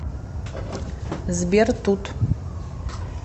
сбер тут